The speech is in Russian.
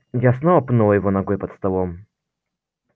я снова пнула его ногой под столом